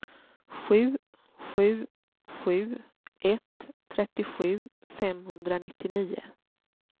sju sju sju ett trettiosju femhundranittionio